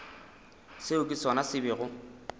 seo ke sona se bego